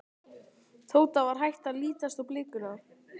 Tóta var hætt að lítast á blikuna.